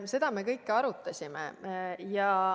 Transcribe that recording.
Seda kõike me arutasime.